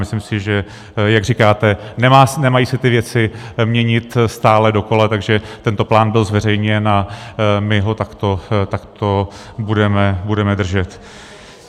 Myslím si, že jak říkáte, nemají se ty věci měnit stále dokola, takže tento plán byl zveřejněn a my ho takto budeme držet.